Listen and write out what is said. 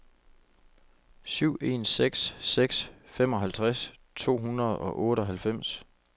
syv en seks seks femoghalvtreds to hundrede og otteoghalvfems